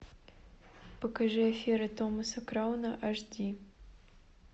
покажи афера томаса крауна аш ди